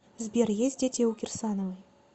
сбер есть дети у кирсановой